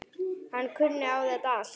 Hann kunni á þetta allt.